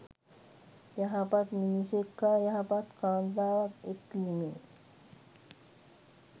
යහපත් මිනිසෙක් හා යහපත් කාන්තාවක් එක් වීමෙන්